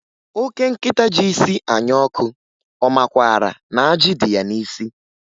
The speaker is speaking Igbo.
Oke nkịta ji isi anya ọkụ, ọ makwaara na ajị dị ya n'isi?